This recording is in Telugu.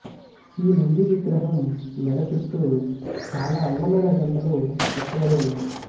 ఈ నంది విగ్రహం మెడ చుట్టూ చాలా అందమైన గంటలు చెక్కబడి ఉన్నాయి